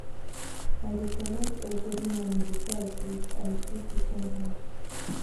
i dey collect egg every morning before i sweep i sweep chicken house